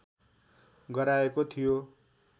गराएको थियो